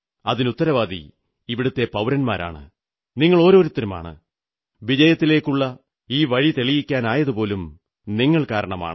അതിനുത്തരവാദി ഇവിടത്തെ പൌരന്മാരാണ് നിങ്ങളോരോരുത്തരുമാണ് വിജയത്തിലേക്കുള്ള ഈ വഴിതെളിക്കാനായതുപോലും നിങ്ങൾ കാരണമാണ്